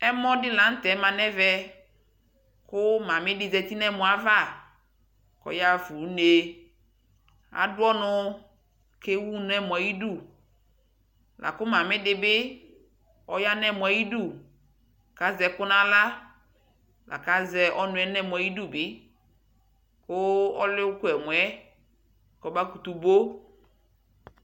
Ɛmɔ dilanutɛ ma nɛmɛɛ Kuu malik di ƶati nɛmɔavaɔɔyaa fuu ne aduɔnu kewu nɛmɔayidulaku ma'ii dibi ɔyaa nɛmɔayidukazɛku nawlalakazɛɛ ɔnuɛɛ nɛmɔayidu ku ɔlu duɛmɔɛɛ kɔbakutu bo